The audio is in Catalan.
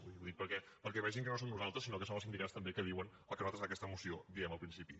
vull dir ho dic perquè vegin que no som nosaltres sinó que són els sindicats també que diuen el que nosaltres en aquesta moció diem al principi